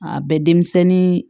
A bɛ denmisɛnnin